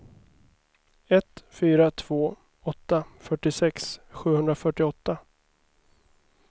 ett fyra två åtta fyrtiosex sjuhundrafyrtioåtta